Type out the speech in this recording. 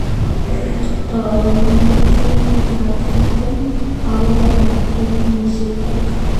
Taune kenyitab tiptem akoi konom eng kenyisiek kuk